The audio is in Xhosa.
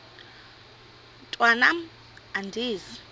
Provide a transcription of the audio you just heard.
mntwan am andizi